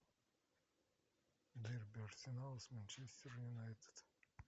дерби арсенал с манчестер юнайтед